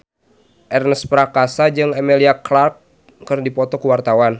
Ernest Prakasa jeung Emilia Clarke keur dipoto ku wartawan